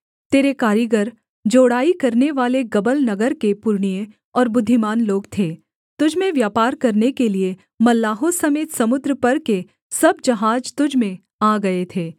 तेरे कारीगर जोड़ाई करनेवाले गबल नगर के पुरनिये और बुद्धिमान लोग थे तुझ में व्यापार करने के लिये मल्लाहों समेत समुद्र पर के सब जहाज तुझ में आ गए थे